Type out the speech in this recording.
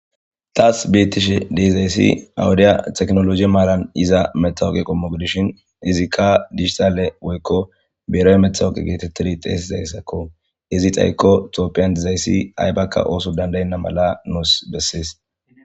Tas betishe de7izayssi awudiya teknoloje maaran iza methawoqa qommo gidishin izikka dijitaale woykko beerawemethawoqe geetettidi xeesizayssakko. Izi xayikko tophiyan diizayssi aybakka ooso danda7enna mala nuus bessees.